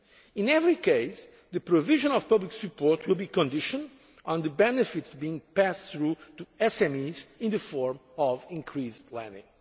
to banks. In every case the provision of public support will be conditional on the benefits being passed through to SMEs in the form of increased